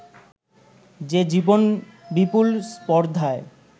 যে জীবন বিপুল স্পর্ধায়